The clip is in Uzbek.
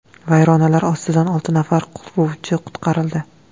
Vayronalar ostidan olti nafar quruvchi qutqarildi.